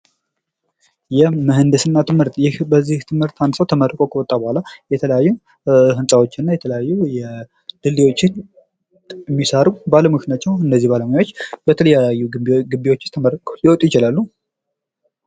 የምህንድስና ትምህርት ይህ በዚህ ትምህርት አንድ ሰው ተመርቆ ከወጣ በኋላ የተለያዩ ህንፃዎችን እና የተለያዩ ድልዮችን የሚሰሩ ባለሙያዎች ናቸው። እነዚህ ባለሙያዎች በተለያዩ ጊቢዎች ተመርቀው ሊወጡ ይችላሉ ።